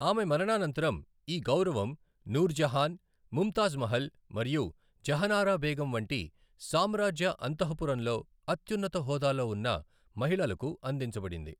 ఆమె మరణానంతరం, ఈ గౌరవం నూర్జహాన్, ముంతాజ్ మహల్ మరియు జహనారా బేగం వంటి సామ్రాజ్య అంతఃపురంలో అత్యున్నత హోదాలో ఉన్న మహిళలకు అందించబడింది.